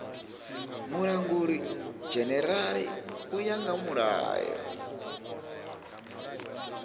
mulangulidzhenerala u ya nga mulayo